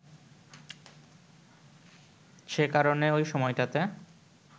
সে কারণে ঐ সময়টাতে